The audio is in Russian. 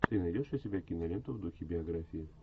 ты найдешь у себя киноленту в духе биографии